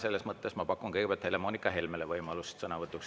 Seetõttu ma pakun kõigepealt Helle-Moonika Helmele võimalust sõna võtta.